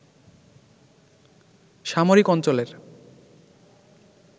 সামরিক অঞ্চলের